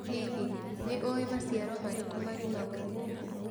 Hihi, nĩ ũĩ maciaro marĩkũ marĩmagwo gũkũ?